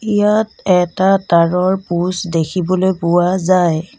ইয়াত এটা তাঁৰৰ প'ষ্ট দেখিবলৈ পোৱা যায়।